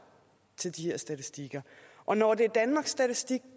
til de her statistiker og når det er danmarks statistik